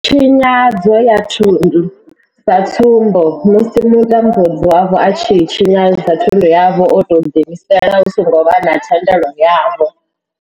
Tshinyadzo ya thundu sa tsumbo, musi mutambudzi wavho a tshi tshinyadza thundu yavho o tou ḓiimisela hu songo vha na thendelo yavho.